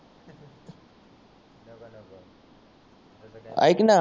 ऐक ना